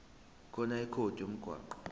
khona ikhodi lomgwaqo